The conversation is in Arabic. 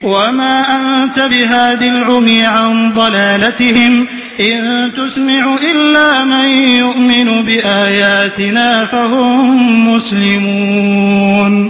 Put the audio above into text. وَمَا أَنتَ بِهَادِي الْعُمْيِ عَن ضَلَالَتِهِمْ ۖ إِن تُسْمِعُ إِلَّا مَن يُؤْمِنُ بِآيَاتِنَا فَهُم مُّسْلِمُونَ